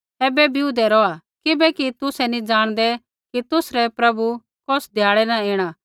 ऐबै बिऊदै रौहा किबैकि तुसै नी ज़ाणदै कि तुसरै प्रभु कौस ध्याड़ै न ऐणा